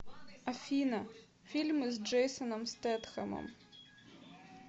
афина фильмы с джейсоном стетхемом